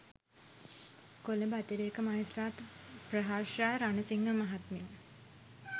කොළඹ අතිරේක මහේස්ත්‍රාත් ප්‍රහර්ෂා රණසිංහ මහත්මිය